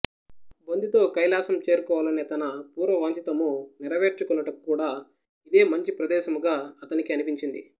బొందితో కైలాసం చేరుకోవాలనే తన పూర్వవాంఛితము నెరవేర్చుకొనుటకు కూడా ఇదేమంచి ప్రదేశముగా అతనికి అనిపించింది